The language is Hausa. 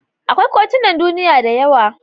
Akwai kotunan duniya da yawa.